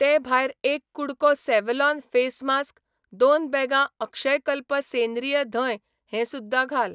ते भायर एक कु़डको सॅव्हलॉन फेस मास्क, दोन बॅगां अक्षयकल्प सेंद्रीय धंय हें सुध्दां घाल.